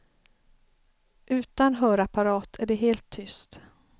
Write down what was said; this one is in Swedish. Utan hörapparat är det helt tyst.